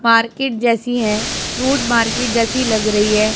Market जैसी है fruit market जैसी लग रही है।